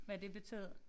Hvad det betød